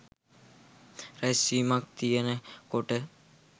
රැස්වීමක් තියනකොට.